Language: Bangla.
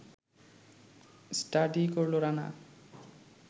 স্টাডি করল রানা